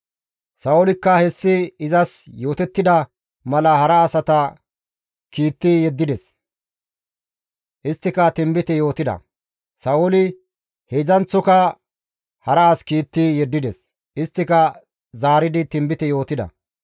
Sa7oolikka hessi izas yootettida mala hara asata kiitti yeddides; isttika tinbite yootida. Sa7ooli heedzdzanththoka hara as kiitti yeddides; isttika zaaridi tinbite yootida.